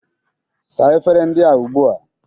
Saa efere ndị a ugbu a!